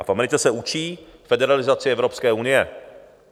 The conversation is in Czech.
A v Americe se učí federalizaci Evropské unie.